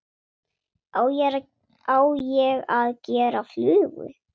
Á ég að gera flugu?